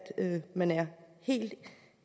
man